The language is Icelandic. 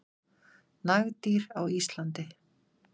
Nagdýr á Íslandi.